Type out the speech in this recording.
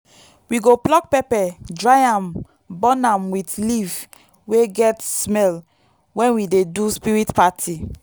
we go pluck pepper dry am burn am with leaf wey get smell when we dey do spirit party.